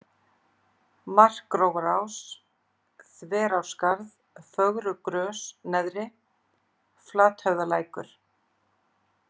Markgrófarás, Þverárskarð, Fögrugrös/neðri, Flathöfðalækur